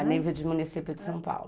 A nível de município de São Paulo.